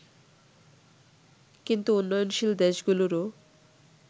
কিন্তু উন্নয়নশীল দেশ গুলোরও